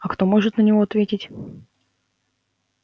а кто может на него ответить